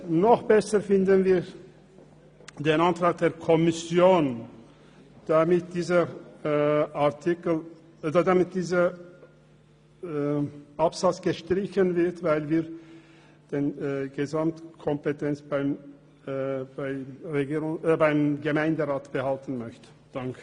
Noch besser finden wir den Antrag der Kommission auf Streichung dieses Absatzes, weil wir die Gesamtkompetenz beim Gemeinderat behalten möchten.